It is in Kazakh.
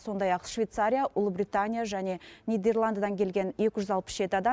сондай ақ швейцария ұлыбритания және нидерландыдан келген екі жүз алпыс жеті адам